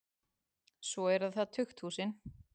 Svo eru það tukthúsin.